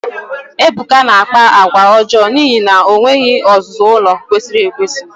Ebuka na-akpa àgwà ọjọọ n'ihi na o nweghị ọzụzụ ụlọ kwesịrị ekwesị.